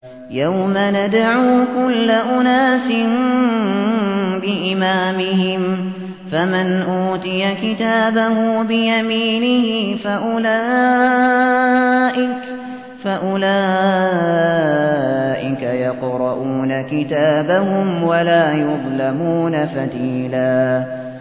يَوْمَ نَدْعُو كُلَّ أُنَاسٍ بِإِمَامِهِمْ ۖ فَمَنْ أُوتِيَ كِتَابَهُ بِيَمِينِهِ فَأُولَٰئِكَ يَقْرَءُونَ كِتَابَهُمْ وَلَا يُظْلَمُونَ فَتِيلًا